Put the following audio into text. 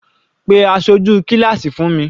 Pe aṣojú kíláásì fún mi.